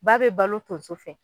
Ba bɛ balo tonso fɛ.